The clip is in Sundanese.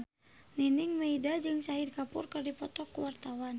Nining Meida jeung Shahid Kapoor keur dipoto ku wartawan